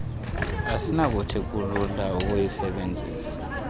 asinakuthi kulula ukuyisebenzisa